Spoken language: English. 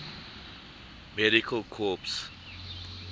medical corps